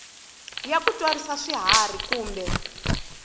ya ku tswarisa swiharhi kumbe